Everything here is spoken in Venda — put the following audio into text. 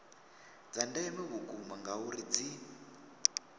dza ndeme vhukuma ngauri dzi